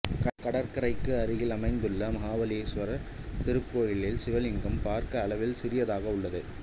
கடற்கரைக்கு அருகில் அமைந்துள்ள மஹாபலேஸ்வரர் திருக்கோயிலில் சிவலிங்கம் பாக்க அளவில் சிறியதாக உள்ளது